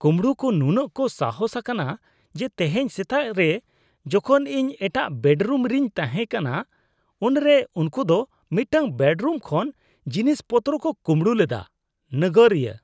ᱠᱩᱢᱵᱲᱩ ᱠᱚ ᱱᱩᱱᱟᱹᱜ ᱠᱚ ᱥᱟᱦᱚᱥ ᱟᱠᱟᱱᱟ ᱡᱮ ᱛᱮᱦᱮᱧ ᱥᱮᱛᱟᱜ ᱨᱮ ᱡᱚᱠᱷᱚᱱ ᱤᱧ ᱮᱴᱟᱜ ᱵᱮᱰ ᱨᱩᱢᱨᱤᱧ ᱛᱟᱦᱮᱸ ᱠᱟᱱᱟ ᱩᱱᱨᱮ ᱩᱱᱠᱩ ᱫᱚ ᱢᱤᱫᱴᱟᱝ ᱵᱮᱰᱨᱩᱢ ᱠᱷᱚᱱ ᱡᱤᱱᱤᱥ ᱯᱚᱛᱨᱚ ᱠᱚ ᱠᱩᱢᱵᱲᱩ ᱞᱮᱫᱟ ᱾ (ᱱᱟᱜᱟᱨᱤᱭᱟᱹ)